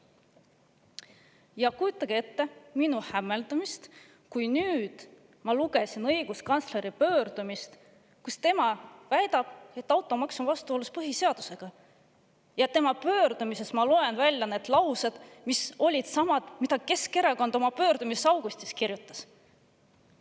Ja kujutage ette minu hämmeldust, kui nüüd ma lugesin õiguskantsleri pöördumist, kus ta väidab, et automaks on vastuolus põhiseadusega, ja tema pöördumisest ma loen välja need laused, mis olid samad, mida Keskerakond oma pöördumises augustis kirjutas.